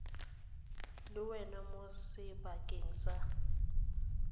le wena mo sebakeng sa